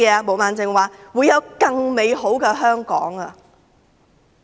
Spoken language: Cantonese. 毛孟靜議員說會有更美好的香港。